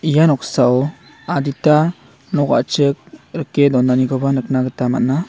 ia noksao adita nok a·chik rike donanikoba nikna gita man·a.